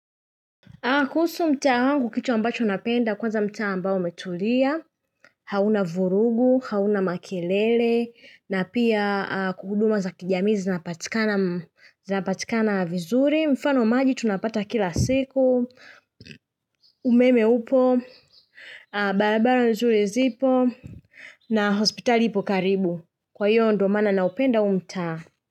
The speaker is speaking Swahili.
Kuhusu mtaa wangu kitu ambacho napenda kwanza mtaa ambao umetulia, hauna vurugu, hauna makelele, na pia huduma za kijamii zinapatikana vizuri, mfano maji tunapata kila siku, umeme upo, barabara vizuri zipo, na hospital ipo karibu. Kwa hiyo ndo maana naupenda huu mtaa.